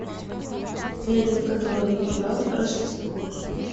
эльф который украл рождество